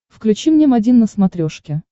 включи мне м один на смотрешке